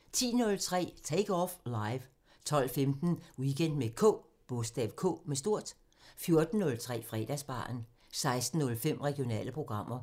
10:03: Take Off Live 12:15: Weekend med K 14:03: Fredagsbaren 16:05: Regionale programmer